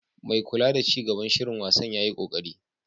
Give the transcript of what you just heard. Mai kula da ci gaban shirin wasan yayi koƙari.